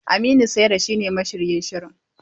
Aminu Saira shine mashiryin shirin.